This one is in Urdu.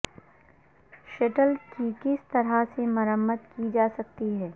شٹل کی کس طرح سے مرمت کی جا سکتی ہے